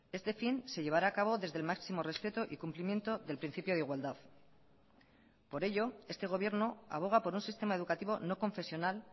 este fin se llevará a cabo desde el máximo respeto y cumplimiento del principio de igualdad por ello este gobierno aboga por un sistema educativo no confesional